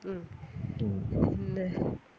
ഉം പിന്നെ